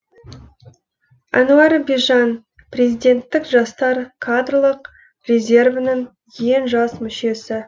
әнуар бижан президенттік жастар кадрлық резервінің ең жас мүшесі